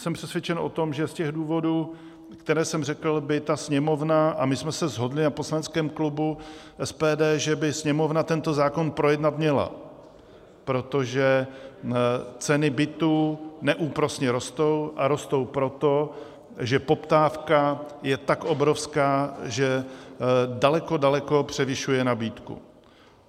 Jsem přesvědčen o tom, že z těch důvodů, které jsem řekl, by ta Sněmovna, a my jsme se shodli na poslaneckém klubu SPD, že by Sněmovna tento zákon projednat měla, protože ceny bytů neúprosně rostou, a rostou proto, že poptávka je tak obrovská, že daleko, daleko převyšuje nabídku.